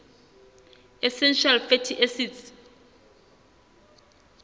essential fatty acids